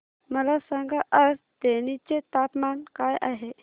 मला सांगा आज तेनी चे तापमान काय आहे